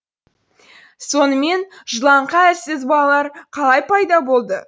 сонымен жылаңқы әлсіз балалар қалай пайда болды